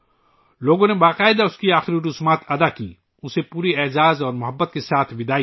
لوگوں نے اس کی آخری رسومات ادا کیں، پورے احترام اور محبت سے اسے رخصت کیا